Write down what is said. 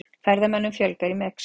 Ferðamönnum fjölgar í Mexíkó